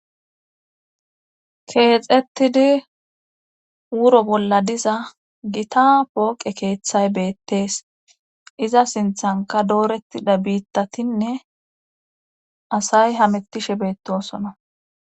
Keexettidi wuro bolla diza gita pooqe keeththay beettees iza sinththanka doorettida biittatinne asay hamettishe beettosona